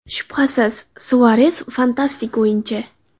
Shubhasiz, Suares – fantastik o‘yinchi.